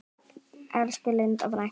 Elsku Linda frænka.